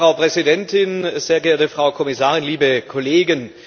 Frau Präsidentin, sehr geehrte Frau Kommissarin, liebe Kollegen!